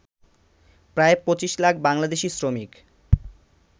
প্রায় ২৫ লাখ বাংলাদেশী শ্রমিক